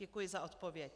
Děkuji za odpověď.